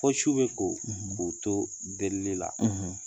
Fɔ su bɛ ko k'u to delili la